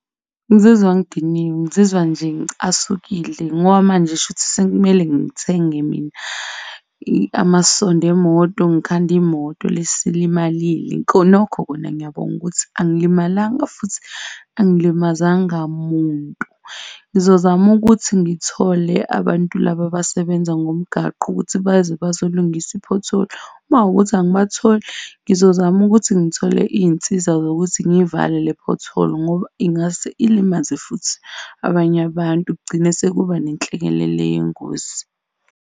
Ngizizwa ngidiniwe, ngizizwa nje ngicasukile ngoba manje shuthi sekumele ngithenge mina amasondo emoto, ngikhande imoto le esilimalile. Khonokho kona ngiyabonga ukuthi angilimalanga futhi angilimazanga muntu. Ngizozama ukuthi ngithole abantu laba abasebenza ngomgaqo ukuthi baze bazolungisa i-pothole. Uma kuwukuthi angibatholi, ngizozama ukuthi ngithole izinsiza zokuthi ngiyivale le pothole ngoba ingase ilimaze futhi abanye abantu kugcine sekuba nenhlekelele yengozi.